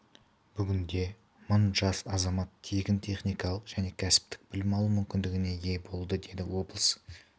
бүгінде мың жас азамат тегін техникалық және кәсіптік білім алу мүмкіндігіне ие болды деді облыс